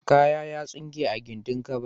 Kaya ya tsinke a gindin kaba.